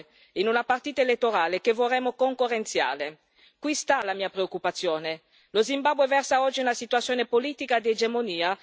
Qui sta la mia preoccupazione lo Zimbabwe versa oggi in una situazione politica di egemonia dello ZANU PF, il partito di Mugabe e di Mnangagwa.